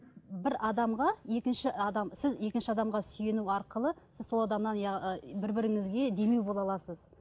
бір адамға екінші адам сіз екінші адамға сүйену арқылы сіз сол адамнан бір біріңізге демеу бола аласыз